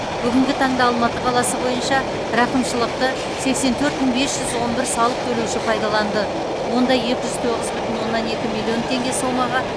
бүгінгі таңда алматы қаласы бойынша рақымшылықты сексен төрт мың бес жүз он бір салық төлеуші пайдаланды онда екі жүз тоғыз бүтін оннан екі миллион теңге сомаға